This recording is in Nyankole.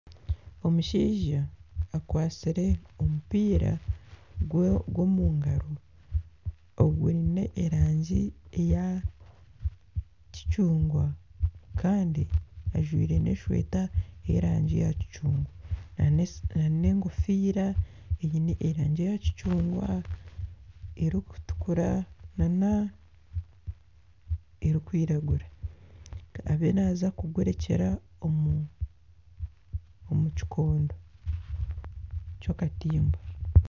Omushaija akwatsire omupiira gw'omungaro ogwiine erangi ya kicungwa kandi ajwaire n'esweeta y'erangi ya kicungwa n'egofiira eine erangi eya kicungwa, erikutukura na n'erikwiragura eriyo naaza kugurekyera omu kikondo ky'akatimba.